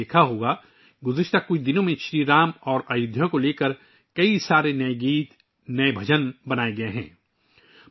آپ نے دیکھا ہوگا کہ پچھلے کچھ دنوں کے دوران شری رام اور ایودھیا پر کئی نئے گانے اور نئے بھجن بنائے گئے ہیں